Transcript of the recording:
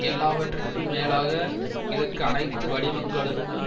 எல்லாவற்றிற்கும் மேலாக இதற்கு அனைத்து வடிவங்களுக்கும்